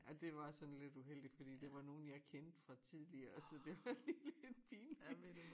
Ja det var sådan lidt uheldigt fordi det var nogen jeg kendte fra tidligere så det var lige lidt pinligt